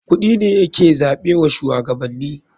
Kuɗi ne ya ke zaɓe wa shuwagabanni.